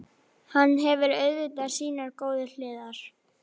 Hann hefur auðvitað sínar góðu hliðar.